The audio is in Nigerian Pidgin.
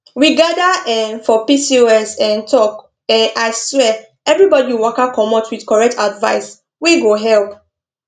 we gather um for pcos um talk um aswear everybody waka commot with correct advice wey go help